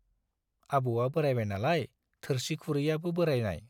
आबौवा बोराइबाय नालाय, थोरसि खुरैयाबो बोराइनाय।